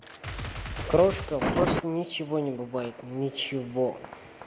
крошка просто ничего не бывает ничего